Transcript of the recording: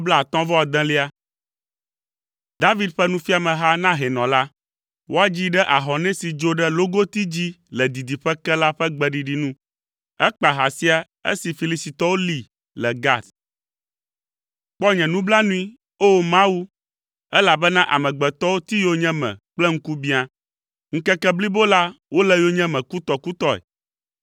David ƒe nufiameha na hɛnɔ la. Woadzii ɖe “Ahɔnɛ si dzo ɖe logoti dzi le didiƒe ke” la ƒe gbeɖiɖi nu. Ekpa ha sia esi Filistitɔwo lée le Gat. Kpɔ nye nublanui, O! Mawu, elabena amegbetɔwo ti yonyeme kple ŋkubiã; ŋkeke blibo la wole yonyeme kutɔkutɔe.